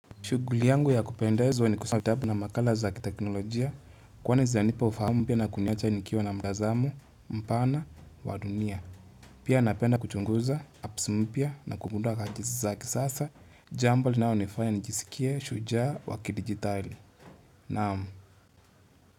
Shughuli yangu ya kupendezwa ni kusoma kitabu na makala za kiteknolojia kwani zanipa ufahamu pia na kuniacha nikiwa na mtazamu, mpana, wa dunia. Pia napenda kuchunguza, apps mpya na kugundua rajisi za kisasa. Jambo linalonifanya nijisikia, shujaa, wa kidigitali. Naamu.